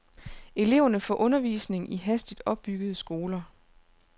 Eleverne får undervisning i hastigt opbyggede skoler.